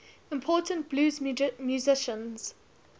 important blues musicians